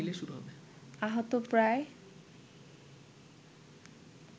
আহত প্রায়